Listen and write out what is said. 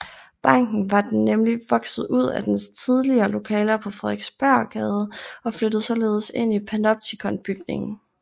Banken var nemlig vokset ud af dens tidligere lokaler på Frederiksberggade og flyttede således ind i Panoptikonbygningen